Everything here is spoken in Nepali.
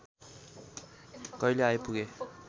कहिले आइपुगे